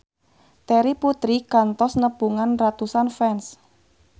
Terry Putri kantos nepungan ratusan fans